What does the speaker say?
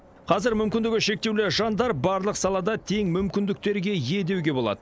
қазір мүмкіндігі шектеулі жандар барлық салада тең мүмкіндіктерге ие деуге болады